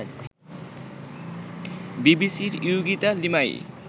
বিবিসির ইয়োগিতা লিমায়ি